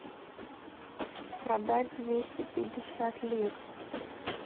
продать двести пятьдесят лир